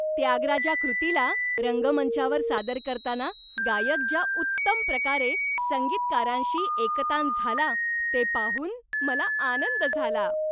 त्यागराजा कृतीला रंगमंचावर सादर करताना गायक ज्या उत्तम प्रकारे संगीतकारांशी एकतान झाला, ते पाहून मला आनंद झाला.